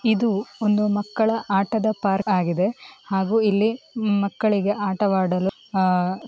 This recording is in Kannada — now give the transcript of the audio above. ಇದು ಒಂದು ಮಕ್ಕಳ ಪಾರ್ಕ್‌ ಆಗಿದೆ ಹಾಗೂ ಇಲ್ಲಿ ಮಕ್ಕಳಿಗೆ ಆಡವಾಡಲು--